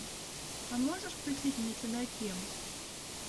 а можешь включить мне чудаки